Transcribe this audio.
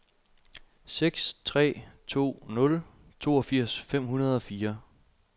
seks tre to nul toogfirs fem hundrede og fire